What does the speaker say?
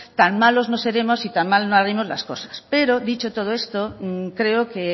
tan malos no seremos y tan mal no haremos las cosas pero dicho todo esto creo que